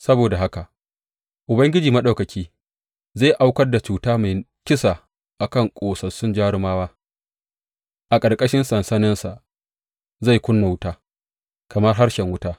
Saboda haka Ubangiji Maɗaukaki, zai aukar da cuta mai kisa a kan ƙosassu jarumawa; a ƙarƙashin sansaninsa zai ƙuna wuta kamar harshen wuta.